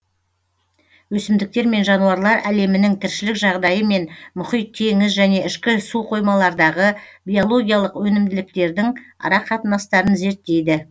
өсімдіктер мен жануарлар әлемінің тіршілік жағдайы мен мұхит теңіз және ішкі суқоймалардағы биологиялық өнімділіктердің арақатынастарын зерттейді